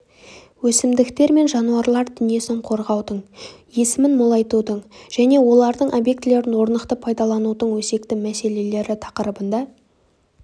өсімдіктер мен жануарлар дүниесін қорғаудың өсімін молайтудың және олардың объектілерін орнықты пайдаланудың өзекті мәселелері тақырыбында